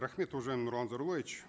рахмет уважаемый нурлан зайроллаевич